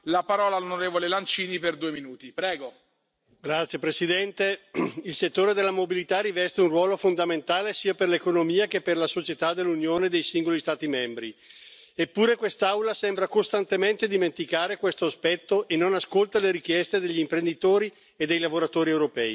Signor Presidente, onorevoli colleghi, il settore della mobilità riveste un ruolo fondamentale sia per l'economia che per la società dell'Unione dei singoli Stati membri, eppure quest'Aula sembra costantemente dimenticare questo aspetto e non ascolta le richieste degli imprenditori e dei lavoratori europei.